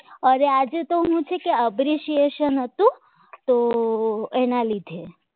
અરે આજે તો શું છે કે uberication હતું તો એના લીધે